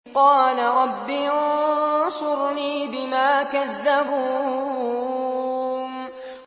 قَالَ رَبِّ انصُرْنِي بِمَا كَذَّبُونِ